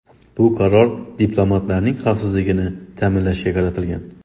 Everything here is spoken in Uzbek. Bu qaror diplomatlarning xavfsizligini ta’minlashga qaratilgan.